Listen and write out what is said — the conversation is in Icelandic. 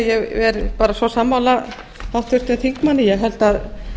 ég er bara svo sammála háttvirtum þingmanni